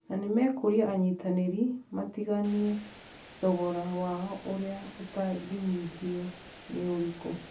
Na nĩ mekũũria anyitanĩri matigaine thogora wao ũrĩa ũtangĩnyihio nĩ ũrĩkũ.